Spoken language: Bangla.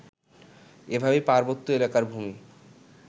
এভাবেই পার্বত্য এলাকার ভূমি